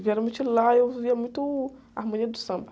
Geralmente lá e eu ouvia muito Harmonia do Samba.